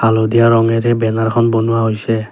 হালধীয়া ৰঙৰে বেনাৰ খন বনোৱা হৈছে।